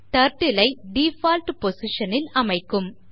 Turtle ஐ default position ல் அமைக்கும்